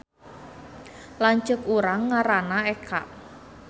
Lanceuk urang ngaranna Eka